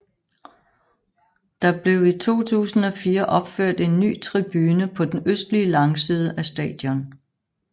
Der blev i 2004 opført en ny tribune på den østlige langside af stadion